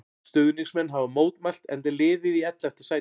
Stuðningsmenn hafa mótmælt enda er liðið í ellefta sæti.